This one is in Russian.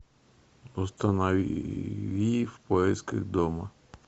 установи в поисках дома